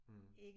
Mh